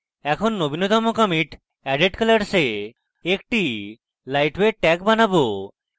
এখন নবীনতম commit added colors a একটি lightweight tag বানাবো